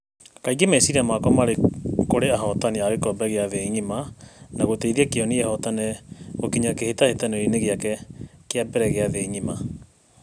ĩingĩ meciria makwa marĩ kurĩ ahotani a gĩkombe kĩa thĩ ngima na guteithia Kĩeni ihotane gukinya kihĩtahĩtanĩroinĩ gĩake kĩa mbere kĩa thĩ ngima